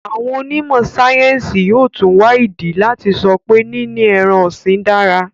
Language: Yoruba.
Àwọn onímọ̀-sáyẹ́ńsì yóò tún wá ìdí láti sọ pé níní ẹran-ọ̀sìn dára.